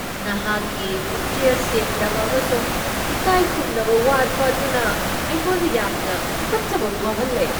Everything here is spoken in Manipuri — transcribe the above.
ꯅꯍꯥꯛꯀꯤ ꯄꯨꯛꯆꯦꯜ ꯁꯦꯡꯗꯕ ꯑꯃꯁꯨꯡ ꯏꯀꯥꯏꯈꯨꯝꯅꯕ ꯋꯥꯠꯄ ꯑꯗꯨꯅ ꯑꯩꯉꯣꯟꯗ ꯌꯥꯝꯅ ꯇꯨꯀꯠꯆꯕ ꯐꯥꯎꯍꯜꯂꯦ꯫